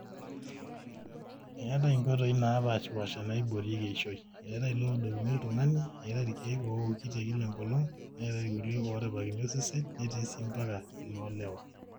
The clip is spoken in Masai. eetai inkoitoi naapaashipaasha naaiboorieki eishoi, eetai ilooudokini oltung'ani, eetai irkeek ooki lekila enkolong, neetai irkulie ooripakini osesen, neetai sii mbaka iloolewa